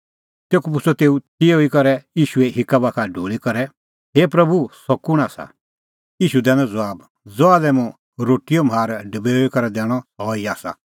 तेखअ पुछ़अ तेऊ तिहअ ई करै ईशूए हिक्का बाखा ढूल़ी करै हे प्रभू सह कुंण आसा ईशू दैनअ ज़बाब ज़हा लै मुंह रोटीओ म्हार डबेऊई करै दैणअ सह ई आसा